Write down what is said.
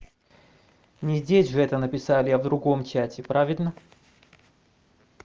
не здесь же это написали я в другом чате правильно